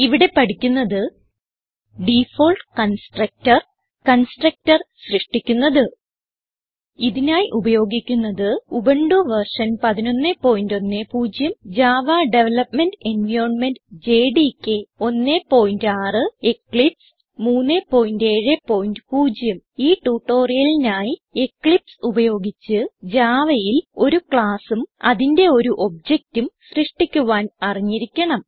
ഇവിടെ പഠിക്കുന്നത് default constructor constructor സൃഷ്ടിക്കുന്നത് ഇതിനായി ഉപയോഗിക്കുന്നത് Ubuntu version 1110 Java development environment JDK 16 Eclipse 370 ഈ ട്യൂട്ടോറിയലിനായി എക്ലിപ്സ് ഉപയോഗിച്ച് Javaയിൽ ഒരു classഉം അതിന്റെ ഒരു objectഉം സൃഷ്ടിക്കുവാൻ അറിഞ്ഞിരിക്കണം